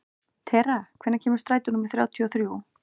Tera, hvenær kemur strætó númer þrjátíu og þrjú?